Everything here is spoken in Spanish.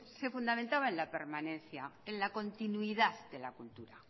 se fundamentaba en la permanencia en la continuidad de la cultura